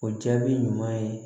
O jaabi ɲuman ye